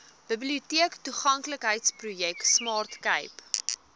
biblioteektoeganklikheidsprojek smart cape